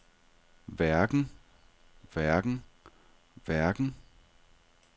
hverken hverken hverken